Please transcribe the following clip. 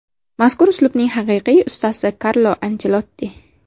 Mazkur uslubning haqiqiy ustasi Karlo Anchelotti.